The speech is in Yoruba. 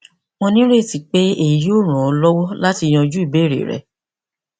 mo nireti pe eyi yoo ran ọ lọwọ lati yanju ibeere rẹ